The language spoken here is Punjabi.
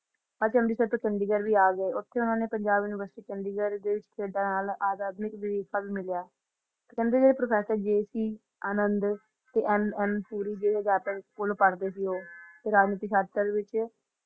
ਅਮ੍ਰਿਤਸਰ ਤੋਂ ਚੰਡੀਗੜ੍ਹ ਵੀ ਆ ਗਏ ਓਥੇ ਓਹਨਾ ਨੇ ਪੰਜਾਬ ਯੂਨੀਵਰਸਿਟੀ ਚੰਡੀਗੜ੍ਹ ਦੇ ਵਿੱਚ sedal academic brief card ਮਿਲਿਆ ਤੇ ਕਹਿੰਦੇ ਜਿਹੜੇ ਪ੍ਰੋਫੈਸਰ JC ਅਨੰਦ ਤੇ MM ਸੂਰੀ ਦੇ ਅਧਿਆਪਕ ਕੋਲ ਪੜ੍ਹਦੇ ਸੀ ਉਹ ਰਾਮ ਮੁੱਖੀ ਸ਼ਾਤਰ ਵਿੱਚ